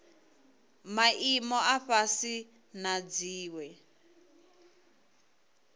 maimo a fhasi na dziwe